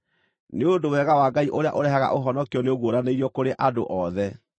Nĩ ũndũ wega wa Ngai ũrĩa ũrehaga ũhonokio nĩũguũranĩirio kũrĩ andũ othe.